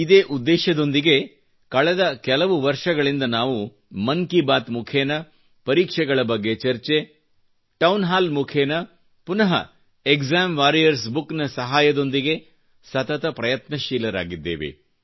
ಇದೇ ಉದ್ದೇಶದೊಂದಿಗೆ ಕಳೆದ ಹಲವು ವರ್ಷಗಳಿಂದ ನಾವು ಮನ್ ಕಿ ಬಾತ್ ಮುಖೇನ ಪರೀಕ್ಷೆಗಳ ಬಗ್ಗೆ ಚರ್ಚೆ ಟೌನ್ ಹಾಲ್ ಮುಖೇನ ಪುನ ಎಗ್ಜಾಮ್ ವಾರಿಯರ್ಸ ಬುಕ್ ನ ಸಹಾಯದೊಂದಿಗೆ ಸತತ ಪ್ರಯತ್ನಶೀಲರಾಗಿದ್ದೇವೆ